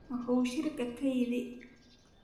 Muxuu shirka ka yidhi?